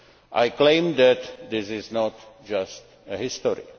I claim that this is not just history.